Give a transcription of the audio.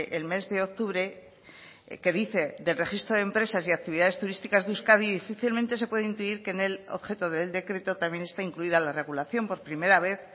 el mes de octubre que dice del registro de empresas y actividades turísticas de euskadi difícilmente se puede intuir que en el objeto del decreto también está incluida la regulación por primera vez